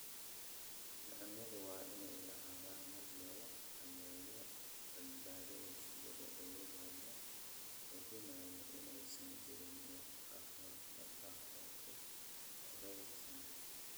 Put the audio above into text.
Cuncunyadu waa inay lahaadaan habab lagu xakameeyo badbaadada shinnida iyadoo la hubinayo inaysan jirin wax khatar ah oo ku hareeraysan.